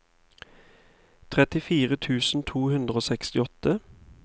trettifire tusen to hundre og sekstiåtte